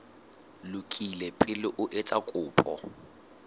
lokile pele o etsa kopo